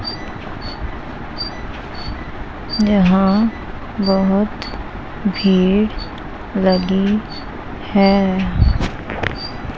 यहां बहोत भीड़ लगी हैं ।